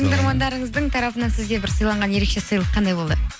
тыңдармандарыңыздың тарапынан сізге бір сыйланған ерекше сыйлық қандай болды